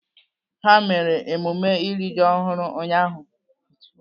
Ha mere emume iri ji ọhụrụ ụnyaahụ.